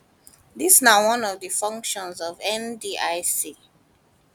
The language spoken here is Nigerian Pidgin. dis na one of di functions of ndic